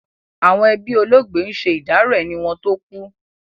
Àwọn ẹbí olóògbé ń ṣe ìdárò ẹni wọn tó kú.